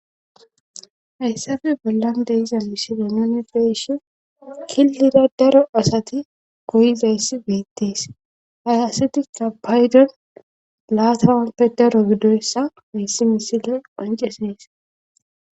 Hayssappe bollan de'iza misile nuni be'ishin killira daro asati goyizayssi beettees ha asati etikabayden laatamappe daro gidoyssa hayssi misiley qonccisees.